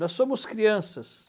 Nós somos crianças.